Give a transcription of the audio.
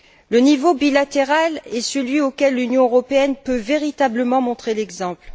Le niveau bilatéral est celui auquel l'Union européenne peut véritablement montrer l'exemple.